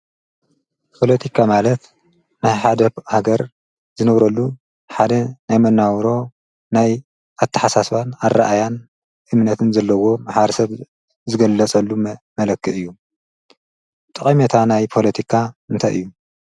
ጶሎቲካ ማለት ናይ ሓደብ ሃገር ዝነውረሉ ሓደ ናይ መናውሮ ናይ ኣትሓሳስባን ኣረእያን እምነትን ዘለዎ ሃር ሰብ ዝገለጸሉ መለክጥ እዩ። ጥቐሜታ ናይ ጶሎቲካ እንተይ እዩ?